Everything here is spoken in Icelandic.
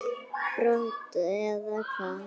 brot eða hvað?